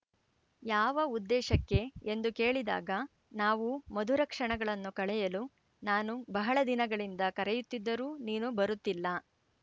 ಯಾವ ಉದ್ದೇಶಕ್ಕೆ ಎಂದು ಕೇಳಿದಾಗ ನಾವು ಮಧುರ ಕ್ಷಣಗಳನ್ನು ಕಳೆಯಲು ನಾನು ಬಹಳ ದಿನಗಳಿಂದ ಕರೆಯುತ್ತಿದ್ದರೂ ನೀನು ಬರುತ್ತಿಲ್ಲ